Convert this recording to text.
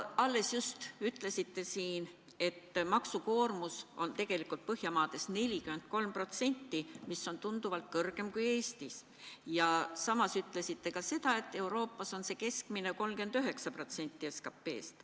Alles ütlesite siin, et maksukoormus on Põhjamaades 43%, mis on tunduvalt kõrgem kui Eestis, ja samas ütlesite ka seda, et Euroopas on keskmiselt 39% SKT-st.